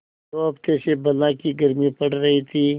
दो हफ्ते से बला की गर्मी पड़ रही थी